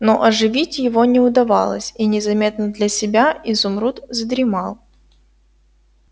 но оживить его не удавалось и незаметно для себя изумруд задремал